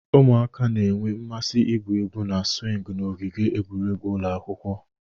Ụmụaka na-enwe mmasị igwu egwu na swingi n'ogige egwuregwu ụlọ akwụkwọ.